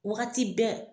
Wagati bɛɛ